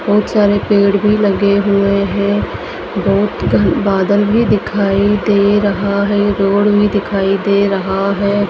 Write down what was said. बहोत सारे पेड़ भी लगे हुए है। बहोत घन बादल भी दिखाई दे रहा है। रोड भी दिखाई दे रहा है।